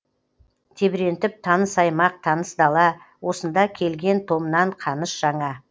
тебірентіп таныс аймақ таныс дала осында келген томнан қаныш жаңа